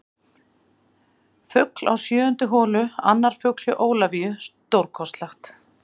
Fugl á sjöundu holu Annar fugl hjá Ólafíu, stórkostlegt.